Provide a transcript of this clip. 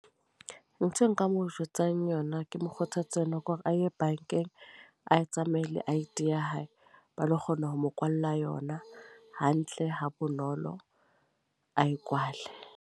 Ntho e nka mo jwetsang yona, ke mokgothatsa yona. Ke hore a ye bankeng a tsamaye le I_D ya hae. Ba lo kgona ho mo kwalla yona hantle ha bonolo. A e kwale.